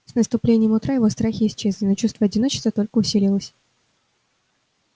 с наступлением утра его страхи исчезли но чувство одиночества только усилилось